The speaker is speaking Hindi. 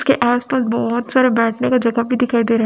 उसके आस पास बहोत सारे बैठने का जगह भी दिखाई दे रा है।